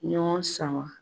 Ɲɔgɔn sama